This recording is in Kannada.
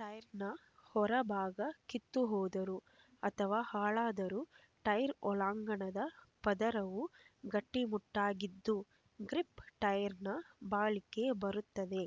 ಟೈರ್‌ನ ಹೊರ ಭಾಗ ಕಿತ್ತು ಹೋದರೂ ಅಥವಾ ಹಾಳಾದರೂ ಟೈರ್ ಒಳಾಂಗಣದ ಪದರವು ಗಟ್ಟಿಮುಟ್ಟಾಗಿದ್ದು ಗ್ರಿಪ್ ಟೈರ್‌ನ ಬಾಳಿಕೆ ಬರುತ್ತದೆ